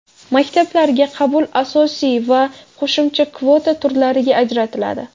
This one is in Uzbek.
Maktablarga qabul asosiy va qo‘shimcha kvota turlariga ajratiladi.